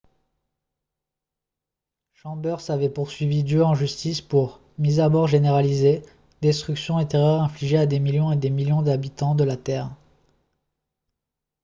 chambers avait poursuivi dieu en justice pour « mise à mort généralisée destruction et terreur infligées à des millions et des millions d'habitants de la terre. »